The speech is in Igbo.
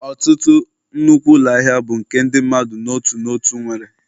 Ọtụtụ nnukwu ụlọ ahịa bụ nke ndị mmadụ n'otu n'otu nwere